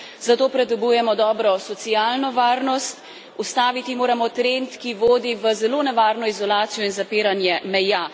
Zato potrebujemo dobro socialno varnost. Ustaviti moramo trend, ki vodi v zelo nevarno izolacijo in zapiranje meja.